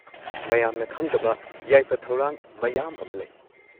ꯃꯌꯥꯝꯅ ꯈꯪꯗꯕ ꯌꯥꯏꯐ ꯊꯧꯔꯥꯡ ꯃꯌꯥꯝ ꯑꯃ ꯂꯩ꯫